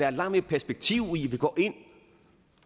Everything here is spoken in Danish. er langt mere perspektiv i at vi går ind